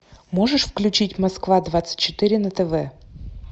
можешь включить москва двадцать четыре на тв